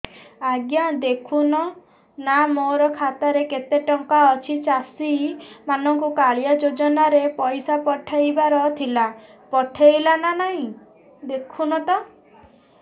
ଆଜ୍ଞା ଦେଖୁନ ନା ମୋର ଖାତାରେ କେତେ ଟଙ୍କା ଅଛି ଚାଷୀ ମାନଙ୍କୁ କାଳିଆ ଯୁଜୁନା ରେ ପଇସା ପଠେଇବାର ଥିଲା ପଠେଇଲା ନା ନାଇଁ ଦେଖୁନ ତ